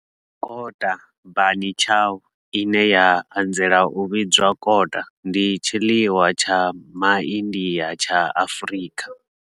Kota, bunny chow, ine ya anzela u vhidzwa kota, ndi tshiḽiwa tsha MA India tsha Afrika.